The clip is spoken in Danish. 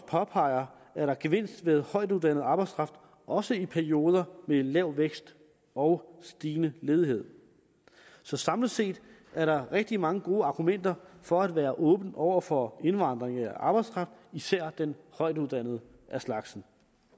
påpeger er der gevinst ved højtuddannet arbejdskraft også i perioder med lav vækst og stigende ledighed så samlet set er der rigtig mange gode argumenter for at være åben over for indvandring af arbejdskraft især den højtuddannede af slagsen